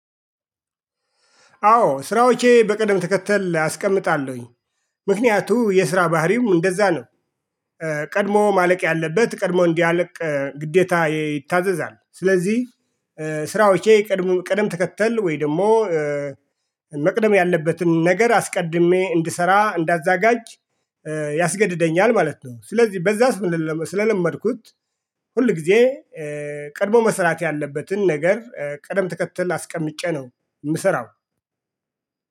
አዎ ስራዎቼ በቅደም ተከተል አስቀምጣለሁኝ ምክንያቱ የስራ ባህሪው እንደዛ ነው። ቀድሞ ማለቅ ያለበት ቀድሞ እንዲያለቅ ግዴታ ይታዘዛል ስለዚህ ስራዎቼ ቀድሞ ቀደም ተከተል ወይ ደግሞ? መቅደም ያለበትን ነገር አስቀድሜ እንድሰራ እንዳዘጋጅ ያስገድደኛል ማለት ነው። ስለዚህ በዛስ ምን ስለለመድኩት። ሁልጊዜ ቀድሞ መስራት ያለበትን ነገር ቀደም ተከተል አስቀምጬ ነው የምሰራው